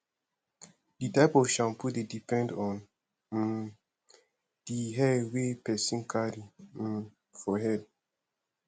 di type of shampoo dey depend on um di hair wey person carry um for head